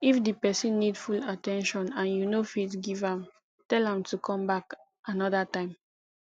if di person need full at ten tion and you no fit give am tell am to come back anoda time